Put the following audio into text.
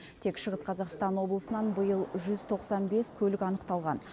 тек шығыс қазақстан облысынан биыл жүз тоқсан бес көлік анықталған